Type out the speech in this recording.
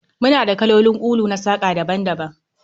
Muna da kalolin kulu na saƙa daban-daban